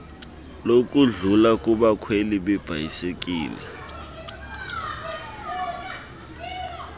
lokudlula kubakhweli beebhayisekile